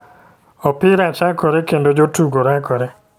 Opira chakore kendo ,jotugo rakore .